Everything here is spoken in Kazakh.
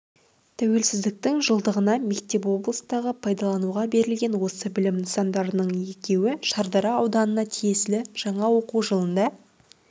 тәуелсіздіктің жылдығына мектеп облыстағы пайдалануға берілген осы білім нысандарының екеуі шардара ауданына тиесілі жаңа оқу жылында